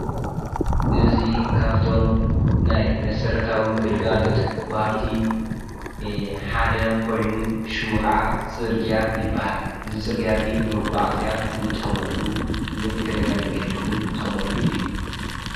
እዙይ ካብቶም ናይ መሠረታዊ ግልጋሎት ወሃብቲ ሓደ ኾይኑ ሹሙ ኸዓ ጽርግያ ይበሃል። እዝ ጽርጋያ እዙይ ንመጕዓ እዝያ እንጥቆመሉ ምእግረኛ መንገዲ ውን ንጥቀመሉ እዩ።